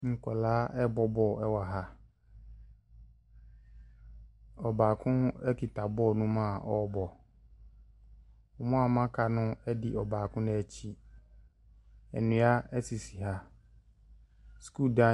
Nkwadaa bɔ bɔɔlo wɔ ha ɔbaako kura bɔɔlo no a ɔbɔ wɔn a aka no di n'akyi nnua sisi haha sukuu dan.